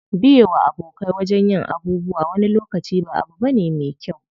Biye wa abokai wajen yin abubuwa wani lokaci ba abu bane me kyau.